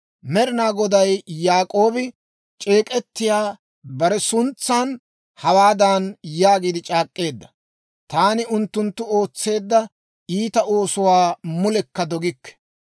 Med'inaa Goday Yaak'oobi c'eek'ettiyaa bare suntsan hawaadan yaagiide c'aak'k'eedda; «Taani unttunttu ootseedda iita oosuwaa mulekka dogikke.